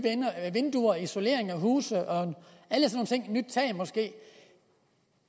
vinduer isolering af huse nyt tag måske